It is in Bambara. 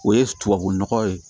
O ye tubabu nɔgɔ ye